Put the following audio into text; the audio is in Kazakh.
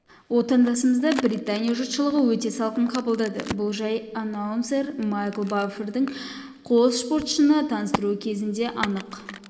отандасымызды британия жұртшылығы өте салқын қабылдады бұл жай аннаунсер майкл баффердің қос спортшыны таныстыруы кезінде анық